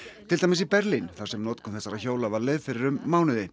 til dæmis í Berlín þar sem notkun þessara hjóla var leyfð fyrir um mánuði